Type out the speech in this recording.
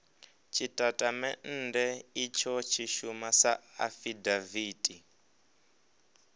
tshitatamennde itsho tshi shuma sa afidaviti